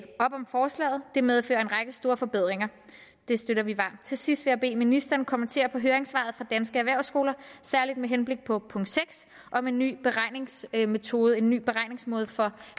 op om forslaget det medfører en række store forbedringer det støtter vi varmt til sidst vil jeg bede ministeren kommentere høringssvaret fra danske erhvervsskoler særligt med henblik på punkt seks om en ny beregningsmetode en ny beregningsmåde for